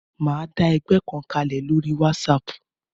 Mo máa dá ẹgbẹ́ kan kalẹ̀ lórí wásaàpù